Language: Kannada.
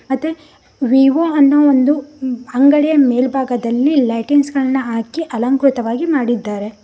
ಮತ್ತೆ ವಿವೊ ಅನ್ನೋ ಒಂದು ಅಂಗಡಿಯ ಮೇಲ್ಭಾಗದಲ್ಲಿ ಲೈಟಿಂಗ್ಸ್ ಗಳನ್ನು ಹಾಕಿ ಅಲಂಕೃತವಾಗಿ ಮಾಡಿದ್ದಾರೆ.